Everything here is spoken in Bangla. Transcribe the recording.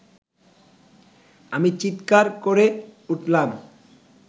আমি চীৎকার করে উঠলাম